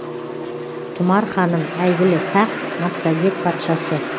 тұмар ханым әйгілі сақ массагет патшасы